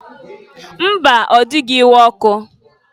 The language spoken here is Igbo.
Mba! Ọ dịghị iwe ọkụ.